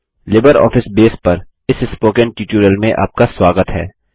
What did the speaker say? LibreOffice Base पर इस spoken tutorial में आपका स्वागत है